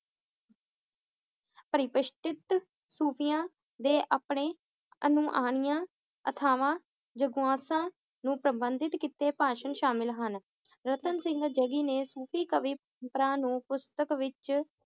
ਪਰਿਪਸ਼ਠਿਤ, ਸੂਫ਼ੀਆਂ ਦੇ ਆਪਣੇ ਅਥਾਹਾਂ ਜਗੁਆਸਾਂ, ਨੂੰ ਪ੍ਰਬੰਧਿਤ ਕੀਤੇ ਭਾਸ਼ਣ ਸ਼ਾਮਿਲ ਹਨ ਰਤਨ ਸਿੰਘ ਨੇ ਸੂਫ਼ੀ ਕਵੀ ਭਰਾ ਨੂੰ ਪੁਸਤਕ ਵਿਚ